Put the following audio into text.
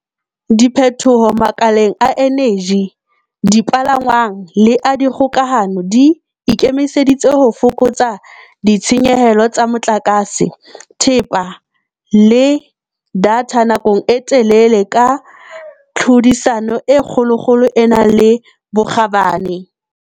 Diphethoho makaleng a eneji, dipalangwang le a dikgokahano di ikemiseditse ho fokotsa ditshenyehelo tsa motlakase, thepa le datha nakong e telele ka tlhodisano e kgolokgolo e nang le bokgabane.